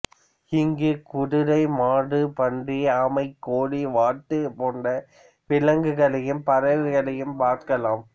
இங்கு குதிரை மாடு பன்றி ஆமை கோழி வாத்து போன்ற விலங்குகளையும் பறவைகளையும் பார்க்கலாம்